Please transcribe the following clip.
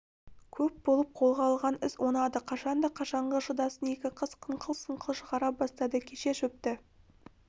көп болып қолға алған іс оңады қашанда қашанғы шыдасын екі қыз қыңқыл-сыңқыл шығара бастады кеше шөпті